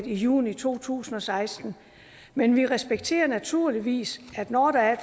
i juni to tusind og seksten men vi respekterer naturligvis at når der er